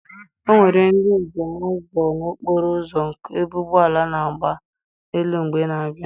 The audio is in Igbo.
Onwere ndị njem nọ n'okpuru okporo ụzọ ebe ụgbọala na-agba n'elu mgbe ị na-abịa?